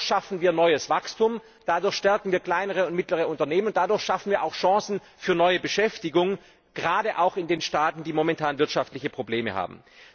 Dadurch schaffen wir neues Wachstum, dadurch stärken wir kleinere und mittlere Unternehmen, dadurch schaffen wir auch Chancen für neue Beschäftigung gerade auch in den Staaten, die momentan wirtschaftliche Probleme haben.